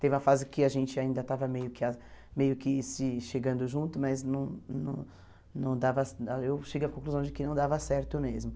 Teve uma fase que a gente ainda estava meio que ah meio que se chegando junto, mas não não não dava eu cheguei à conclusão de que não dava certo mesmo.